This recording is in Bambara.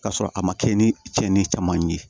K'a sɔrɔ a ma kɛ ni cɛnni caman ye